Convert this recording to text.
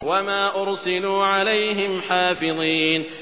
وَمَا أُرْسِلُوا عَلَيْهِمْ حَافِظِينَ